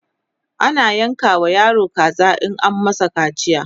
ana yanka wa yaro kaza in an masa kaciya